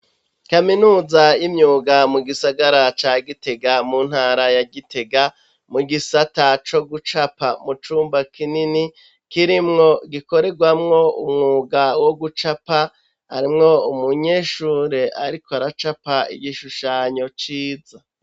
Kaminuza y'imyuga mu gisagara ca Gitega mu ntara ya Gitega mu gisata co gucapa mucumba kinini kirimwo gikorerwamwo umwuga wo gucapa arimwo umunyeshure ariko aracapa igishushanyo ciza.